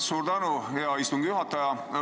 Suur tänu, hea istungi juhataja!